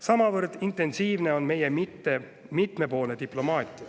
Samavõrd intensiivne on meie mitmepoolne diplomaatia.